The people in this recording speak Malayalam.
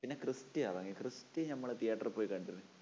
പിന്നെ ക്രിസ്റ്റി ഇറങ്ങി. ക്രിസ്റ്റി നമ്മള് theatre ൽ പോയി കണ്ടിരുന്നു